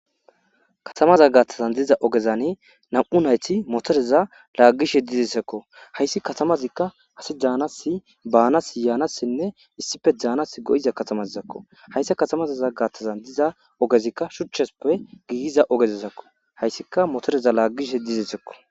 Katamaza gaattazan diza ogezane nam'u nayti motoreza laaggishe dizesekko hayssi katamazikka ase jaanasi baanas yaanassinne issife jaanas go'iza katamazizakko hayssi katamazaza gaattazan diza ogezikka shuchchesuppe giiyiza ogezesakko hayssika motoreza laaggishe dizesekko.